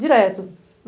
Direto.